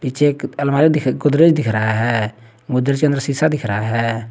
पीछे एक अलमारी दिख गोदरेज दिख रहा है गोदरेज के अंदर शीशा दिख रहा है।